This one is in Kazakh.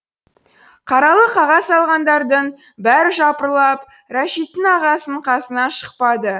қаралы қағаз алғандардың бәрі жапырлап рәшиттің ағасының қасынан шықпады